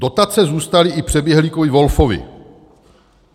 Dotace zůstaly i přeběhlíkovi Wolfovi.